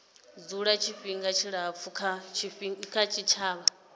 dzula tshifhinga tshilapfu kha tshitshavha